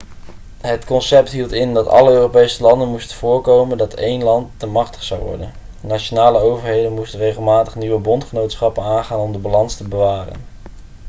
het concept hield in dat alle europese landen moesten voorkomen dat één land te machtig zou worden nationale overheden moesten regelmatig nieuwe bondgenootschappen aangaan om de balans te bewaren